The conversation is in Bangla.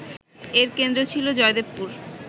এর কেন্দ্র ছিল জয়দেবপুর